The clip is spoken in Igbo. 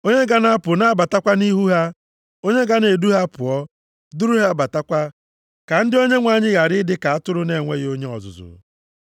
Onye ga na-apụ na-abatakwa nʼihu ha, onye ga na-edu ha pụọ, duru ha batakwa, ka ndị Onyenwe anyị ghara ịdị ka atụrụ na-enweghị onye ọzụzụ.”